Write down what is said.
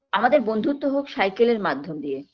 আমাদের বন্ধুত্ব হোক cycle -এর মাধ্যম দিয়ে